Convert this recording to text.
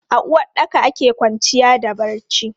A uwaɗɗaka ake kwanciya da barci.